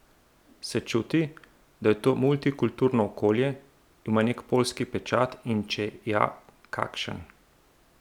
Se čuti, da je to mulitkulturno okolje, ima nek poljski pečat in če ja, kakšen?